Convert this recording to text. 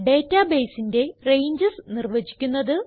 databaseന്റെ ranges നിർവചിക്കുന്നത്